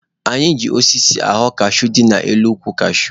Anyị ji osisi ghọọ kashuu dị n'elu ukwu kashuu.